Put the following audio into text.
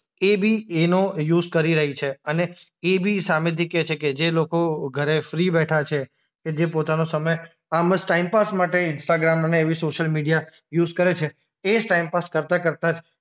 એ બી એનો યુઝ કરી રહી છે અને એ બી સામેથી કહે છે કે જે લોકો ઘરે ફ્રી બેઠા છે કે જે પોતાનો સમય આમ જ ટાઈમપાસ માટે ઈન્સ્ટાગ્રામ ને એવી સોશ્યિલ મીડિયા યુઝ કરે છે એ જ ટાઈમપાસ કરતા-કરતા જ